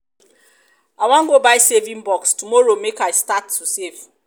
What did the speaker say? i wan go buy saving box um tomorrow make i start to dey save um